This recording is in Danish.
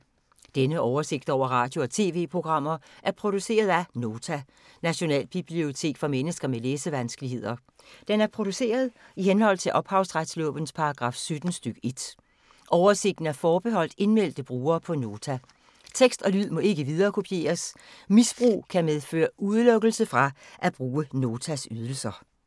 Denne oversigt over radio og TV-programmer er produceret af Nota, Nationalbibliotek for mennesker med læsevanskeligheder. Den er produceret i henhold til ophavsretslovens paragraf 17 stk. 1. Oversigten er forbeholdt indmeldte brugere på Nota. Tekst og lyd må ikke viderekopieres. Misbrug kan medføre udelukkelse fra at bruge Notas ydelser.